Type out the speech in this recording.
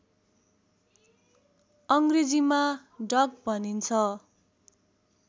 अङ्ग्रेजीमा डक भनिन्छ